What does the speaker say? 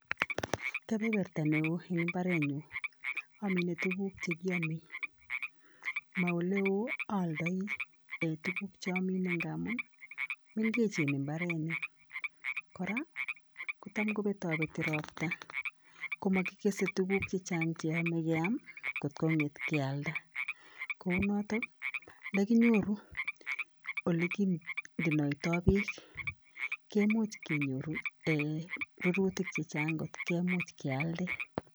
Kibeberta neoo eng mbarenyu amine tukuk che kiame. Ma ole oo aaldai um tukuk che ame ngamun mengechen mbaranik. Kora, kotam betabeti robta ko makikesei tukuk che chang cheame keam kotko ng'et kealda. Koounoto ndakinyoru ole kiondenoitoi beek kemuch kenyoru rorutik che chang kealden.